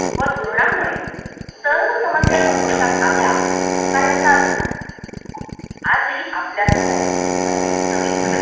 व धोरणामुळे सर्व समस्या संपुष्ठात आल्या असा ह्याचा अर्थ नाही आजही आपल्या समोर अनेक नवीन